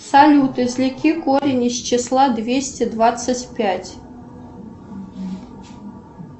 салют извлеки корень из числа двести двадцать пять